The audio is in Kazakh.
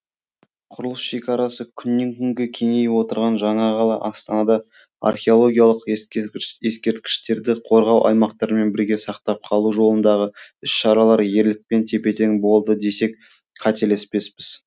құрылыс шекарасы күннен күнге кеңейіп отырған жаңа қала астанада археологиялық ескерткіштерді қорғау аймақтарымен бірге сақтап қалу жолындағы іс шаралар ерлікпен тепе тең болды десек қателеспеспіз